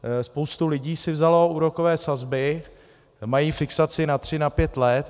Spousta lidí si vzala úrokové sazby, mají fixaci na tři, na pět let.